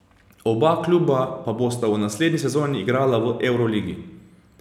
Oba kluba pa bosta v naslednji sezoni igrala v evroligi.